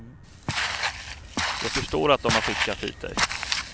Jag förstår att dom har skickat hit dig.